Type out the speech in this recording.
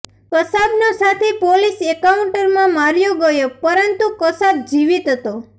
કસાબનો સાથી પોલિસ એન્કાઉન્ટરમાં માર્યો ગયો પરંતુ કસાબ જીવિત હતો